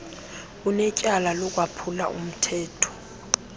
unetyala lokwaphula umthetho